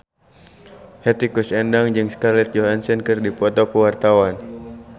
Hetty Koes Endang jeung Scarlett Johansson keur dipoto ku wartawan